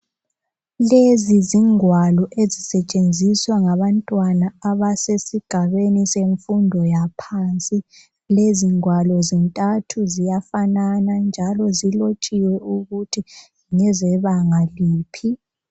Lezi zingwalo ezisetshenziswa ngabantwana abasesigabeni semfundo yaphansi. Lezi ngwalo zintathu ziyafanana njalo zilotshiwe ukuthi ngezebanga liphi.